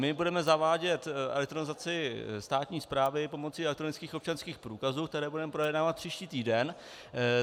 My budeme zavádět elektronizaci státní správy pomocí elektronických občanských průkazů, které budeme projednávat příští týden.